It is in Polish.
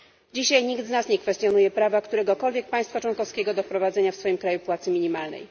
Dzisiaj nikt z nas nie kwestionuje prawa, któregokolwiek państwa członkowskiego do wprowadzenia w swoim kraju płacy minimalnej.